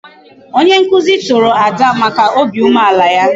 Onye nkuzi toro Ada maka obi umeala ya.